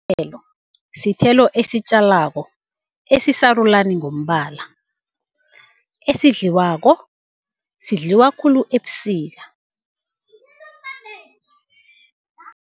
sithelo esitjalwako, esisarulani ngombala, esidliwako, sidliwa khulu ebusika.